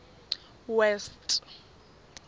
west